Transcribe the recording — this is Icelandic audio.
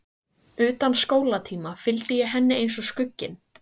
Utan skólatíma fylgdi ég henni eins og skugginn.